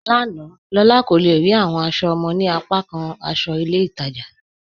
Lána, Lólà kò le rí awọn aṣọ ọmọ ni apàkàn aṣọ ilẹ̀ Ìtaja